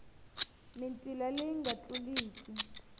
hi mitila leyi nga tluliki